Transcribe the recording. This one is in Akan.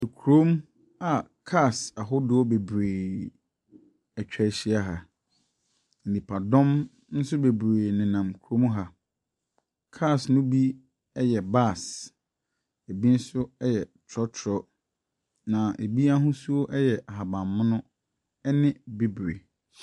Ekurom a cars ahodoɔ bebree ɛtwa hyia ha. Nipadɔm ɛnso bebree ne nam kurom ha. Cars no bi ɛyɛ bus, ebi nso yɛ trɔtrɔ na ebi ahosuo yɛ ahaban mono, ɛne bibre.